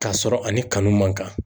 Ka sɔrɔ ani kanu man kan.